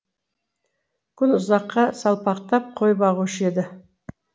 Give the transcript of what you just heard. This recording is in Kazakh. күн ұзаққа салпақтап қой бағушы еді